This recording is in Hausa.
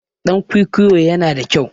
Ɗan kwikwiyo yana da kyau.